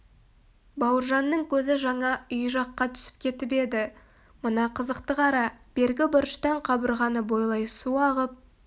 бауыржанның көзі жаңа үй жаққа түсіп кетіп еді мына қызықты қара бергі бұрыштан қабырғаны бойлай су ағып